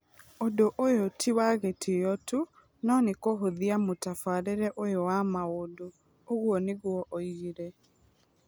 Ũndũ ũyũ ti wa gĩtĩo tu, no nĩ kũhũthia mũtabarĩre ũyũ wa maũndũ", ũguo nĩguo oigire.